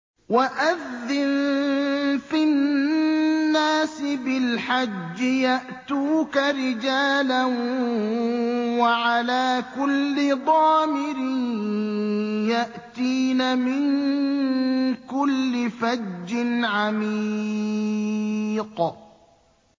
وَأَذِّن فِي النَّاسِ بِالْحَجِّ يَأْتُوكَ رِجَالًا وَعَلَىٰ كُلِّ ضَامِرٍ يَأْتِينَ مِن كُلِّ فَجٍّ عَمِيقٍ